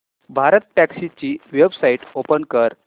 भारतटॅक्सी ची website open कर